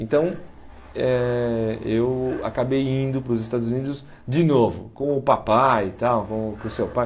Então, eh eu acabei indo para os Estados Unidos de novo, com o papai e tal, com o com o seu pai.